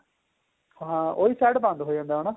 ਹਾਂ ਉਹੀ side ਬੰਦ ਹੋ ਜਾਂਦਾ ਹਨਾ